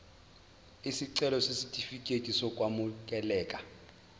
isicelo sesitifikedi sokwamukeleka